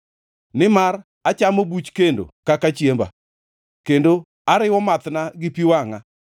Nimar achamo buch kendo kaka chiemba kendo ariwo mathna gi pi wangʼa,